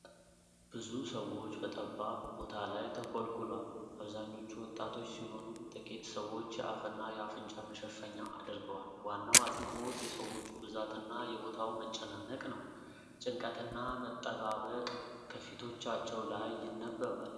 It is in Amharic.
ብዙ ሰዎች በጠባብ ቦታ ላይ ተኮልኩለዋል። አብዛኞቹ ወጣቶች ሲሆኑ ጥቂት ሰዎች የአፍና የአፍንጫ መሸፈኛ አድርገዋል። ዋናው አጽንዖት የሰዎቹ ብዛትና የቦታው መጨናነቅ ነው። ጭንቀትና መጠባበቅ ከፊቶቻቸው ላይ ይነበባል።